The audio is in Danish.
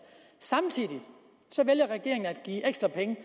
samtidig vælger regeringen give ekstra penge